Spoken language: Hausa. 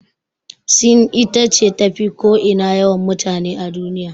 Sin ita ce tafi ko ina yawan mutane a duniya.